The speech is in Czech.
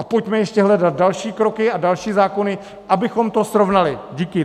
A pojďme ještě hledat další kroky a další zákony, abychom to srovnali. Díky.